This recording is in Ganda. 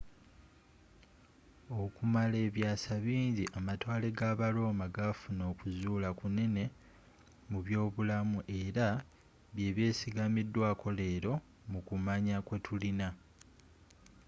okumala ebyasa bingi amatwale g'aba roma gafuna okuzzula kunene mu byobulamu era byebyesiggamidwako lero mu kumanya kwetulina